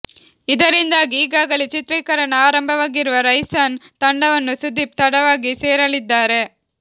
ಇದರಿಂದಾಗಿ ಈಗಾಗಲೇ ಚಿತ್ರೀಕರಣ ಆರಂಭವಾಗಿರುವ ರೈಸನ್ ತಂಡವನ್ನು ಸುದೀಪ್ ತಡವಾಗಿ ಸೇರಲಿದ್ದಾರೆ